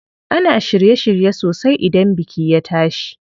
Ana shirye shirye sosai idan biki ya tashi.